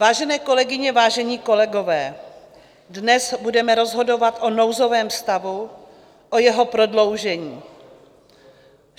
Vážené kolegyně, vážení kolegové, dnes budeme rozhodovat o nouzovém stavu, o jeho prodloužení.